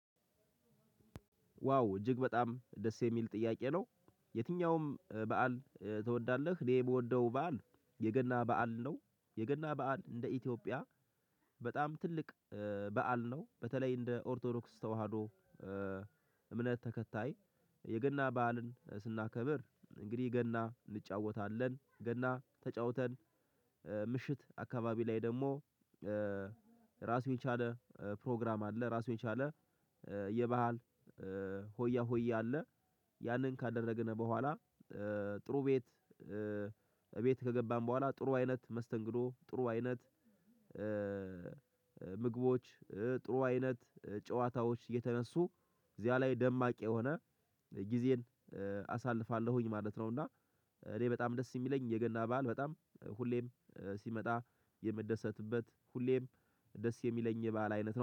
ዋው እጅግ በጣም ደስ የሚል ጥያቄ ነው? የትኛውም በዓል ትወዳለህ? እኔ የምወደው በዓል የገና በዓል ነው። የገና በዓል እንደ ኢትዮጵያ። በጣም ትልቅ በዓል ነው በተለይ እንደ ኦርቶዶክስ ተዋህዶ። እምነት ተከታይ የገና በዓልን ስናከብር። እንግዲህ ገና እንጫወታለን ገና ተጫውተን። ምሽት አካባቢ ላይ ደግሞ ራሱን የቻለ ፕሮግራም አለ። ራሱን የቻለ የባህል ሆያ ሆያ አለ። ያንን ካደረግን በኋላ። ጥሩ ቤት ከገባን በኋላ ጥሩ አይነት መስተንግዶ ጥሩ አይነት ምግቦች ጥሩ አይነት ጨዋታዎች እየተነሱ እዚያ ላይ ደማቅ የሆነ ጊዜን አሳልፋለሁኝ ማለት ነው። እና እኔ በጣም ደስ የሚለኝ የገና በዓል በጣም ሁሌም ሲመጣ የምደሰትበት ሁሌም ደስ የሚለኝ የበአል አይነት ነው